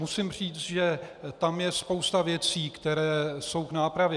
Musím říct, že tam je spousta věcí, které jsou k nápravě.